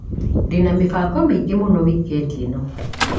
Ndĩna mĩbango mĩingĩ mũno wikendi ĩno.